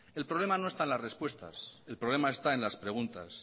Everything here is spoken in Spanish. el problema no está en las respuestas el problema está en las preguntas